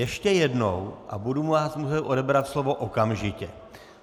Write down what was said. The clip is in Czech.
Ještě jednou a budu vám muset odebrat slovo okamžitě!